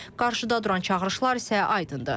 Qarşıda duran çağırışlar isə aydındır.